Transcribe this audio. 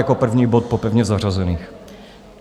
Jako první bod po pevně zařazených.